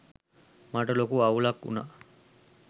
මට ලොකු අවුලක් වුණා